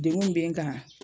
Degun min bɛ kan